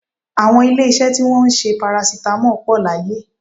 Àwọn ilé-iṣẹ́ tí wọn ń ṣe parasitamọ́ọ̀ pọ̀ láyé